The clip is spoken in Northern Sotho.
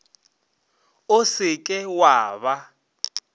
o se ke wa ba